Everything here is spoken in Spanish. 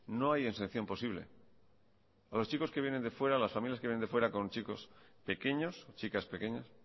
no hay exención posible a los chicos que vienen de fuera las familias que vienen de fuera con chicos pequeños chicas pequeñas